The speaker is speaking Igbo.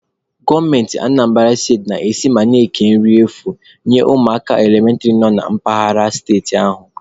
Gọọmenti Anambara steti na-esi ma na-eke nri efu enye ụmụaka elementịrị nọ na mpaghara steeti ahụ